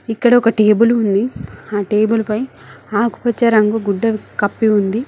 ఇక్కడ ఒక టేబుల్ ఉంది ఆ టేబుల్ పై ఆకుపచ్చ రంగు గుడ్డ కప్పి ఉంది.